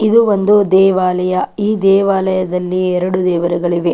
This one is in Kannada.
ಇದು ಒಂದು ದೇವಾಲಯ ಈ ದೇವಾಲಯದಲ್ಲಿ ಎರಡು ದೇವರುಗಳಿವೆ.